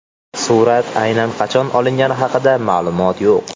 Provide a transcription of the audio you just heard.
Surat aynan qachon olingani haqida ma’lumot yo‘q.